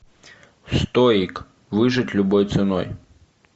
стоик выжить любой ценой